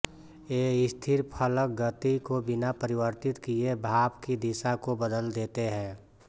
ये स्थिर फलक गति को बिना परिवर्तित किए भाप की दिशा को बदल देते हैं